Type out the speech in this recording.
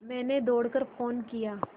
मैंने दौड़ कर फ़ोन किया